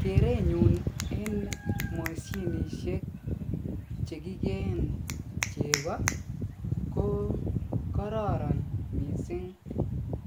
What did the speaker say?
Kerenyun en mosinisiek chekikeen cheko ko kororon mising